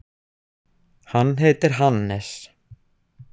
Hann heitir Hannes.